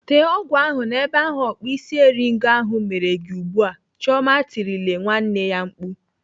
Tee ọgwụ ahụ n'ebe ahụ ọkpụisieringo ahụ mere gị ugbu a! "Chioma tirile nwanne ya mkpu.